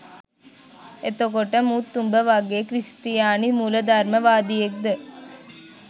එතකොට මුත් උඹ වගේ ක්‍රිස්තියානි මුලධර්ම වාදියෙක්ද?